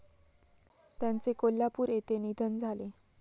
त्यांचे कोल्हापूर येथे निधन झाले.